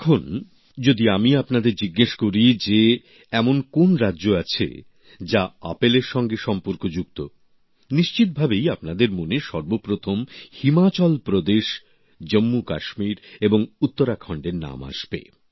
এখন যেমন যদি আমি আপনাদের জিজ্ঞেস করি যে এমন কোন রাজ্য আছে যা আপেলের সঙ্গে সম্পর্কযুক্ত নিশ্চিতভাবেই আপনাদের মনে সর্বপ্রথম হিমাচল প্রদেশ জম্মুকাশ্মীর এবং উত্তরাখণ্ডের নাম আসবে